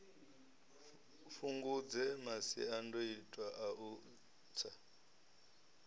fhungudze masiandoitwa a u tsa